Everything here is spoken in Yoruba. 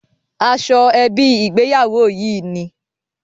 Aṣọ ẹbí ìgbéyàwó yí ni.